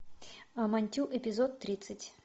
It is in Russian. амантю эпизод тридцать